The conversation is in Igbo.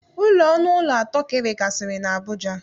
Ụlọ ọnụụlọ atọ ka e nwegasịrị n'Abuja